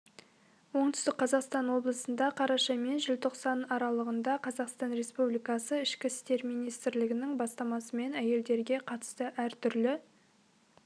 оңтүстік қазақстан облысында қараша мен желтоқсан аралығында қазақстан республикасы ішкі істер министрлігінің бастамасымен әйелдерге қатысты әртүрлі